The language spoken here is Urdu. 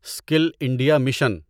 skill India mission